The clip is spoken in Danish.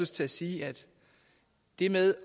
til at sige det med